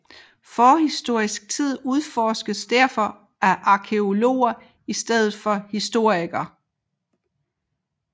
Forhistorisk tid udforskes derfor af arkæologer i stedet for historikere